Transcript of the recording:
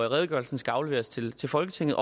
redegørelsen skal afleveres til til folketinget